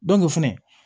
fɛnɛ